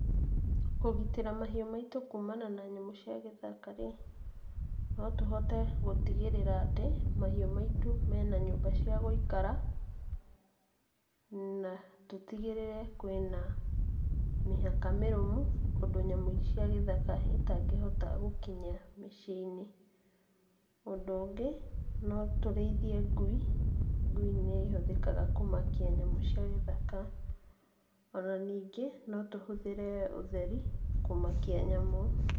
Kũgitĩra mahiũ maitũ kumana na nyamũ cia gĩthaka rĩ, no tũhote gũtigĩrĩra atĩ mahiũ maitũ mena nyũmba cia gũikara, na tũtigĩrĩre atĩ kwĩna mĩhaka mĩrũmu ũndũ nyamũ cia gĩthaka itangĩhota gũkinya mĩciĩ-inĩ. Ũndũ ũngĩ, no tũrĩithie ngui. Ngui nĩihũthikaga kũmakia nyamũ cia gĩthaka. O na nĩngĩ, no tũhũthĩre ũtheri, kũmakia nyamũ.